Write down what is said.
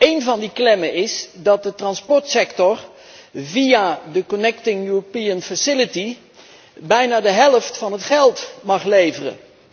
Eén van die klemmen is dat de transportsector via de connecting European facility bijna de helft van het geld mag leveren.